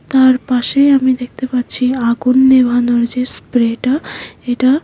তার পাশে আমি দেখতে পাচ্ছি আগুন নেভানোর যে স্প্রেটা এটা।